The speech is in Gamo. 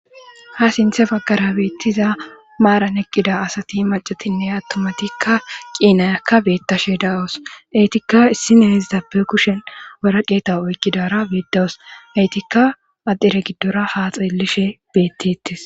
ha sinthe baggara beittiza maaran eqqida asati macatinne attomatikka qiinayakka beettashe da7wus eytikka issi neezitappe kushen waraqeeta oykkidara beedawos eytikka adire giddora ha xeellishe bettetes